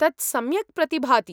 तत् सम्यक् प्रतिभाति।